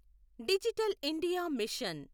digital India machine